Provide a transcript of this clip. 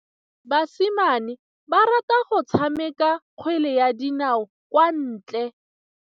Basimane ba rata go tshameka kgwele ya dinaô kwa ntle.